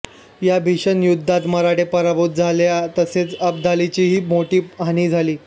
या भीषण युद्धात मराठे पराभूत झाले तसेच अब्दालीचीहि मोठी हानी झाली